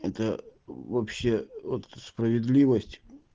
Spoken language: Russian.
это вообще вот справедливость